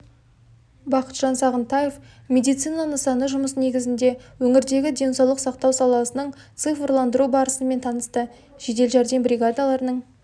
бақытжан сағынтаев медицина нысаны жұмысы негізінде өңірдегі денсаулық сақтау саласының цифрландыру барысымен танысты жедел жәрдем бригадаларының